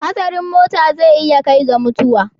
Hatsarin muta zai iya kai ga mutuwa.